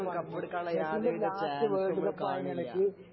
മെസ്സിന്റെ last world cup ആണ് Messi ഇപ്രാവശ്യം